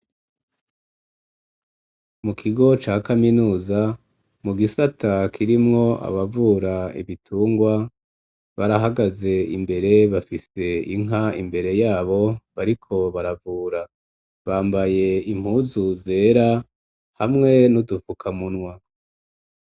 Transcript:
Mu kigo ca kaminuza mu gisata kirimwo abavura ibitungwa barahagaze imbere bafise inka imbere yabo bariko baravura bambaye impuzu zera hamwe nu dupfukamunwa.